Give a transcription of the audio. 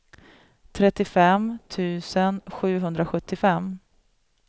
trettiofem tusen sjuhundrasjuttiofem